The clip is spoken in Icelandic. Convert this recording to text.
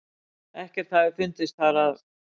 Ekkert hafi fundist þar að